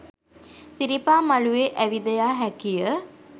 සිරිපා මළුවේ ඇවිද යා හැකිය